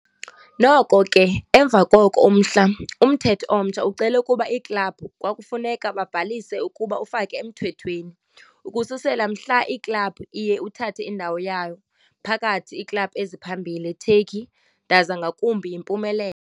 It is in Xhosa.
Noko ke, emva koko umhla, umthetho omtsha ucele ukuba iiklabhu kwakufuneka babhaliswe ukuba ufake emthethweni. Ukususela mhla, iklabhu iye uthathe indawo yawo phakathi iiklabhu eziphambili Turkey ndaza ngakumbi yimpumelelo.